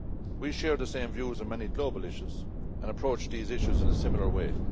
We share the same views on many global issues, and approach these issues in a similar way.